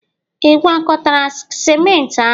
ị gwakọtara ciment ahụ?